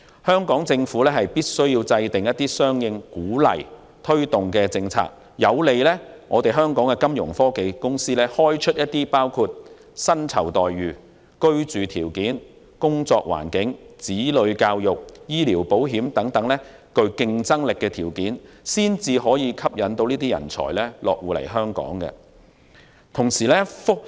香港政府必須制訂相應政策加以鼓勵和推動，以便香港的金融科技公司在包括薪酬待遇、居住條件、工作環境、子女教育、醫療保險等方面開出具競爭力的條件，方能吸引這類人才落戶香港。